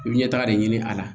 I bi ɲɛta de ɲini a la